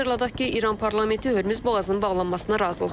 Xatırladaq ki, İran parlamenti Hörmüz boğazının bağlanmasına razılıq verib.